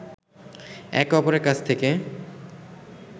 একে অপরের কাছ থেকে